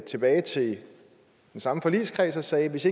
tilbage til samme forligskreds og sagde hvis